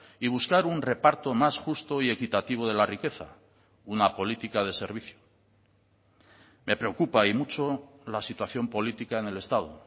y buscar un reparto más justo y equitativo de la riqueza una política de servicio me preocupa y mucho la situación política en el estado